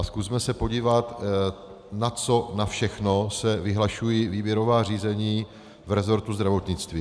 A zkusme se podívat, na co na všechno se vyhlašují výběrová řízení v resortu zdravotnictví.